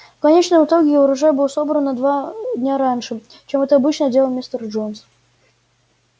в конечном итоге урожай был собран на два дня раньше чем это обычно делал мистер джонс